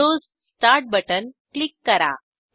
Windows start button click करा